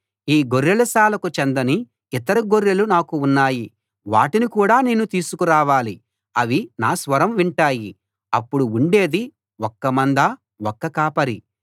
ఈ గొర్రెలశాలకు చెందని ఇతర గొర్రెలు నాకు ఉన్నాయి వాటిని కూడా నేను తీసుకురావాలి అవి నా స్వరం వింటాయి అప్పుడు ఉండేది ఒక్క మంద ఒక్క కాపరి